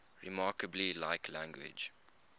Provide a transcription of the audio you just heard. remarkably like language